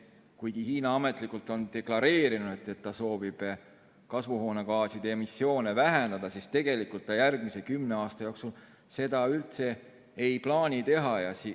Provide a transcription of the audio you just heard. Kuigi Hiina on ametlikult deklareerinud, et ta soovib kasvuhoonegaaside emissiooni vähendada, siis tegelikult ta järgmise kümne aasta jooksul seda üldse ei plaani teha.